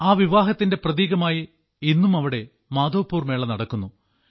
ആ വിവാഹത്തിന്റെ പ്രതീകമായി ഇന്നും അവിടെ മാധവ്പുർ മേള നടക്കുന്നു